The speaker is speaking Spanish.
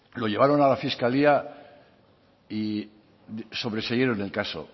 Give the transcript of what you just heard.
lo llevaron a la fiscalía y sobreseyeron el caso